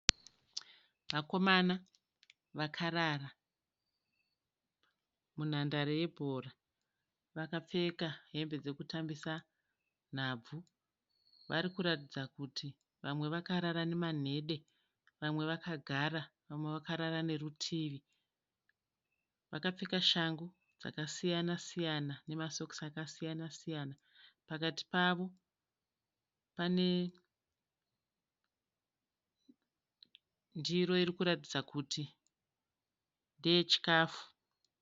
Vakomana vakarara munhandare yebhora vakapfeka hembe dzekutambisa nhabvu, vari kuratidza kuti vamwe vakarara nemanhede vamwe vakagara vamwe vakarara nerutivi vakapfeka shangu dzakasiyana siyana nemasokisi akasiyana siyana pakati pavo pane ndiro iri kuratidza kuti ndeye chikafu.